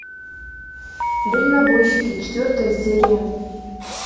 дальнобойщики четвертая серия